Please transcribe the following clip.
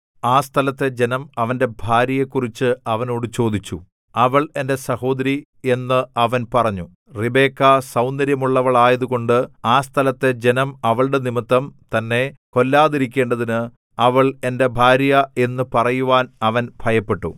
ആ സ്ഥലത്തെ ജനം അവന്റെ ഭാര്യയെക്കുറിച്ച് അവനോട് ചോദിച്ചു അവൾ എന്റെ സഹോദരി എന്ന് അവൻ പറഞ്ഞു റിബെക്കാ സൗന്ദര്യമുള്ളവളായതുകൊണ്ട് ആ സ്ഥലത്തെ ജനം അവളുടെ നിമിത്തംതന്നെ കൊല്ലാതിരിക്കേണ്ടതിന് അവൾ എന്റെ ഭാര്യ എന്നു പറയുവാൻ അവൻ ഭയപ്പെട്ടു